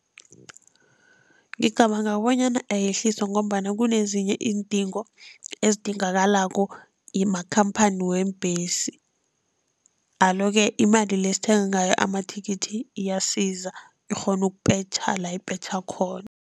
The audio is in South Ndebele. Ngicabanga bonyana ayehliswa ngombana kunezinye iindingo ezidingakalako makhamphani weembhesi, alo-ke imali le esithenga ngayo amathikithi iyasiza, ikghona ukupetjha la ipetjha khona.